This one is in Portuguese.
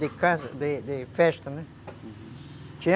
De casa, de de festa, né? Uhum.